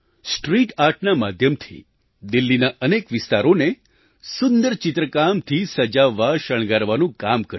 street આર્ટના માધ્યમથી દિલ્હીના અનેક વિસ્તારોને સુંદર ચિત્રકામથી સજાવવાશણગારવાનું કામ કર્યું